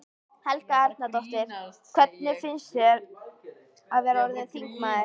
Helga Arnardóttir: Hvernig finnst þér að vera orðinn þingmaður?